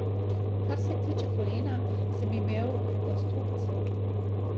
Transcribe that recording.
Kar se tiče kolena, sem imel rekonstrukcijo.